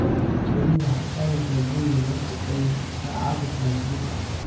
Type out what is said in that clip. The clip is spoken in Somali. Berri waxaad aadaysaa guriga marka ay saacadu tahay sideed saac